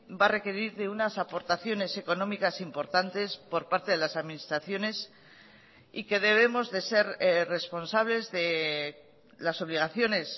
va a requerir de unas aportaciones económicas importantes por parte de las administraciones y que debemos de ser responsables de las obligaciones